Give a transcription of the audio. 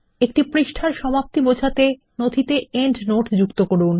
একটি পৃষ্ঠার সমাপ্তি বোঝাতে নথিতে পাদটীকা যোগ করুন